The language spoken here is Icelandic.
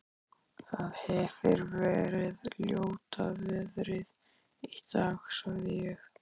Það hefir verið ljóta veðrið í dag- sagði ég.